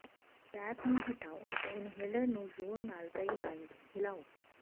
cap ਨੂੰ ਹਟਾਓ ਅਤੇ ਇਨਹਲਰ ਨੂੰ ਜ਼ੋਰ ਨਾਲ ਕਈ ਵਾਰ ਹਿਲਾਓ